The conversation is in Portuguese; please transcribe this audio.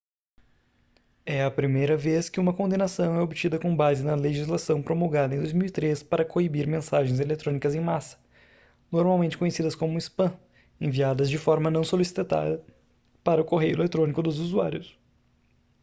é a primeira vez que uma condenação é obtida com base na legislação promulgada em 2003 para coibir mensagens eletrônicas em massa normalmente conhecidas como spam enviadas de forma não solicitada para o correio eletrônico dos usuários